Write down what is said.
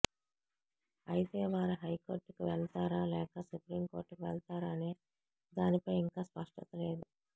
అయితే వారు హైకోర్టుకు వెళతారా లేక సుప్రీంకోర్టుకు వెళతారా అనే దానిపై ఇంకా స్పష్టత లేదు